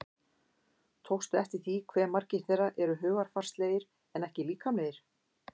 Tókstu eftir því hve margir þeirra eru hugarfarslegir en ekki líkamlegir?